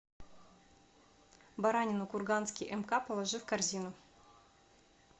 баранину курганский мк положи в корзину